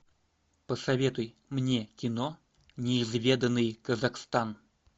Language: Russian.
посоветуй мне кино неизведанный казахстан